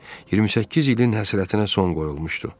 28 ilin həsrətinə son qoyulmuşdu.